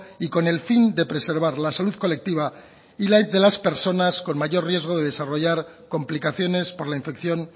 y con el fin de preservar la salud colectiva y de las personas con mayor riesgo de desarrollar complicaciones por la infección